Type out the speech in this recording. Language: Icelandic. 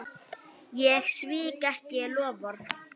Ég svík ekki loforð.